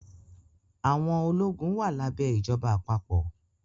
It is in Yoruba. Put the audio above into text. Àwọn ológun wà lábẹ́ ìjọba àpapọ̀